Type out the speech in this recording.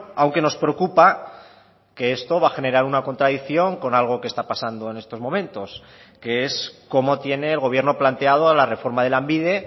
aunque nos preocupa que esto va a generar una contradicción con algo que está pasando en estos momentos que es cómo tiene el gobierno planteado la reforma de lanbide